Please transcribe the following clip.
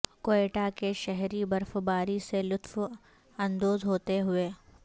کوئٹہ کے شہری برفباری سے لطف اندوز ہوتے ہوئے